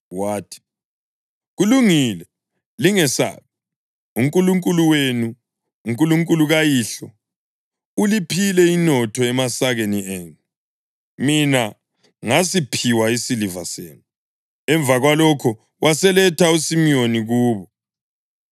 Wathi, “Kulungile. Lingesabi. UNkulunkulu wenu, uNkulunkulu kayihlo, uliphile inotho emasakeni enu; mina ngasiphiwa isiliva senu.” Emva kwalokho waseletha uSimiyoni kubo.